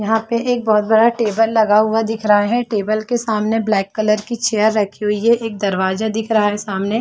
यहाँ पे एक बहुत बड़ा टेबल लगा हुआ दिख रहा है टेबल के सामने ब्लैक कलर की चेयर रखी हुई है एक दरवाजा दिख रहा है सामने।